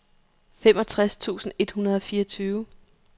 femogtres tusind et hundrede og fireogtyve